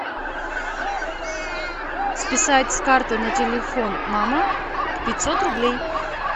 списать с карты на телефон мама пятьсот рублей